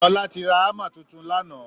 Sọlá ti ra hammer tuntun lánàá